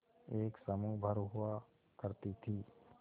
एक समूह भर हुआ करती थी